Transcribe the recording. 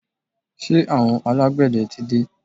Ṣé àwọn alágbẹ̀dẹ tí dé?